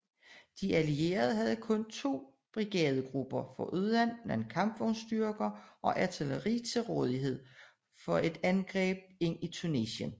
De allierede havde kun to brigadegrupper foruden nogle kampvognsstyrker og artilleri til rådighed for et angreb ind i Tunesien